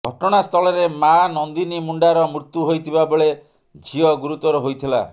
ଘଟଣା ସ୍ଥଳରେ ମାଆ ନନ୍ଦିନୀ ମୁଣ୍ଡାର ମୃତ୍ୟୁ ହୋଇଥିବା ବେଳେ ଝିଅ ଗୁରୁତର ହୋଇଥିଲା